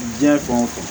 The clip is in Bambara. Diɲɛ fan o fan